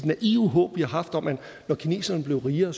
naive håb vi har haft om at når kineserne blev rigere